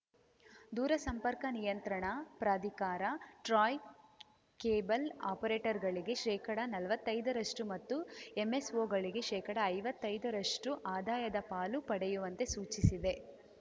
ದೂರಸಂಪರ್ಕ ನಿಯಂತ್ರಣ ಪ್ರಾಧಿಕಾರ ಟ್ರಾಯ್‌ ಕೇಬಲ್‌ ಆಪರೇಟರ್‌ಗಳಿಗೆ ಶೇಕಡನಲ್ವತ್ತೈದರಷ್ಟುಮತ್ತು ಎಂಎಸ್‌ಓ ಗಳಿಗೆ ಶೇಕಡಐವತ್ತೈದರಷ್ಟುಆದಾಯದ ಪಾಲು ಪಡೆಯುವಂತೆ ಸೂಚಿಸಿದೆ